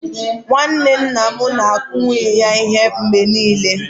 Nwanne nna m na-akụ nwunye ya ihe mgbe niile.